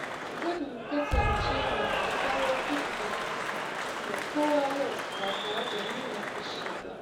Zan kasance mai kyakkyawar hulɗa da kowa yau, ba tare da nuna fushi ba.